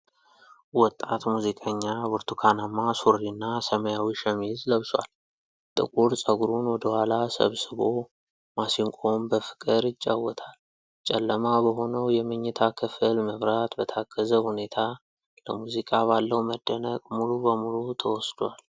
ወጣት ሙዚቀኛ ብርቱካናማ ሱሪና ሰማያዊ ሸሚዝ ለብሷል። ጥቁር ፀጉሩን ወደ ኋላ ሰብስቦ ማሲንቆውን በፍቅር ይጫወታል። ጨለማ በሆነው የመኝታ ክፍል መብራት በታገዘ ሁኔታ፣ ለሙዚቃ ባለው መደነቅ ሙሉ በሙሉ ተወስዷል።